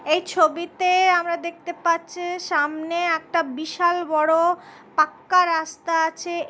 এই ছবিতে আমরা দেখতে পাচ্ছি সামনে একটা বিশাল বড় পাক্কা রাস্তা আছে |